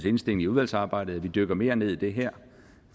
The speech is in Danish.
indstilling i udvalgsarbejdet at vi dykker mere ned i det her